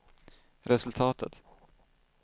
resultatet